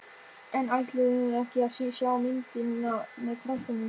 En ætluðum við ekki að sjá myndina með krökkunum?